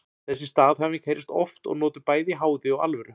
Þessi staðhæfing heyrist oft og notuð bæði í háði og alvöru.